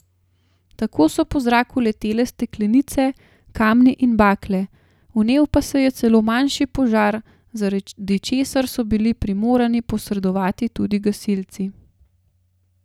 Tako so po zraku letele steklenice, kamni in bakle, vnel pa se je celo manjši požar, zaradi česar so bili primorani posredovati tudi gasilci.